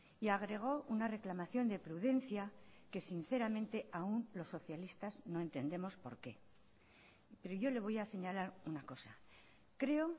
y agregó una reclamación de prudencia que sinceramente aún los socialistas no entendemos por qué pero yo le voy a señalar una cosa creo